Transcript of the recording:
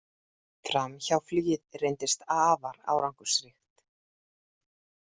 Framhjáflugið reyndist afar árangursríkt.